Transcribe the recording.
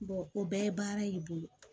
o bɛɛ ye baara y'i bolo